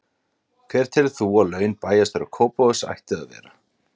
Hver telur þú að laun bæjarstjóra Kópavogs ættu að vera?